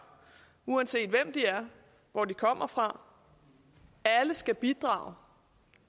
uanset hvem de er og hvor de kommer fra alle skal bidrage